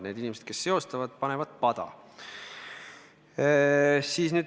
Need inimesed, kes seostavad, panevad pada.